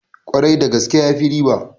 Kwarai da gaske, yafi riba